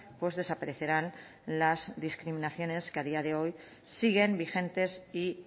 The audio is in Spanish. pues desaparecerán las discriminaciones que a día de hoy siguen vigentes y